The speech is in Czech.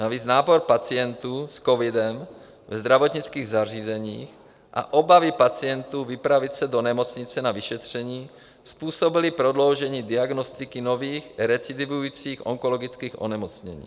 Navíc nápor pacientů s covidem ve zdravotnických zařízeních a obavy pacientů vypravit se do nemocnice na vyšetření způsobily prodloužení diagnostiky nových recidivujících onkologických onemocnění.